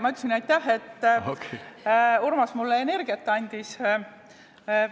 Ma ütlesin aitäh selle eest, et Urmas mulle energiat andis.